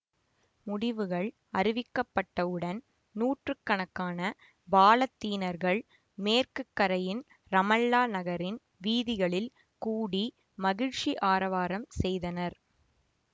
முடிவுகள் அறிவிக்கப்பட்டவுடன் நூற்று கணக்கான பாலத்தீனர்கள் மேற்கு கரையின் ரமல்லா நகரின் வீதிகளில் கூடி மகிழ்ச்சி ஆரவாரம் செய்தனர்